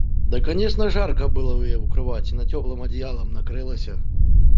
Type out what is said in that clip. да конечно жарко было у её в кровати на тёплым одеялом накрылася